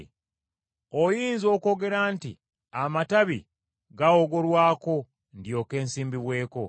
Oyinza okwogera nti, “Amatabi gaawogolwako, ndyoke nsimbibweko.”